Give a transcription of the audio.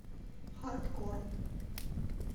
хардкор